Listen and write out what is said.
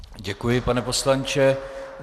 Děkuji, pane poslanče.